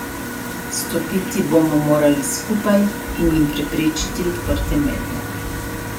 Stopiti bomo morali skupaj in jim preprečiti odprte mete.